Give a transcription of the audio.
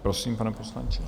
Prosím, pane poslanče.